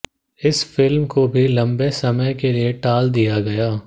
इस फिल्म को भी लंबे समय के लिए टाल दिया गया